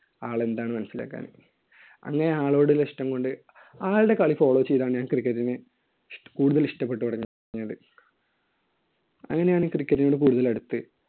ആൾ എന്താണെന്ന് മനസ്സിലാക്കാന്. അങ്ങനെ ആളോടുള്ള ഇഷ്ടം കൊണ്ട്. ആളുടെ കളി follow ചെയ്താണ് ഞാൻ cricket നെ കൂടുതൽ ഇഷ്ടപ്പെട്ടു തുടങ്ങിയത്. അങ്ങനെയാണ് ഈ cricket നോട് കൂടുതൽ അടുത്ത്